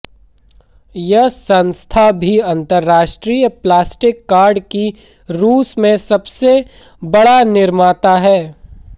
यह संस्था भी अंतरराष्ट्रीय प्लास्टिक कार्ड की रूस में सबसे बड़ा निर्माता है